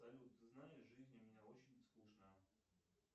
салют ты знаешь в жизни мне очень скучно